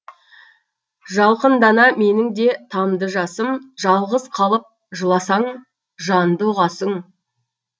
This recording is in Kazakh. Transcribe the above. жалқындана менің де тамды жасым жалғыз қалып жыласаң жанды ұғасың